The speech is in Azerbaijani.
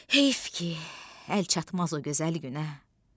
Heyf ki, əlçatmaz o gözəl günə!